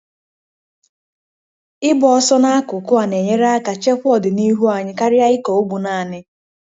Ịgba ọsọ n'akụkụ a na-enyere aka chekwa ọdịnihu anyị karịa ịkọ ugbo naanị.